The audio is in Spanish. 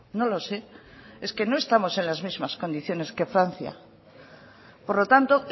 no lo sé es que no estamos en las mismas condiciones que francia por lo tanto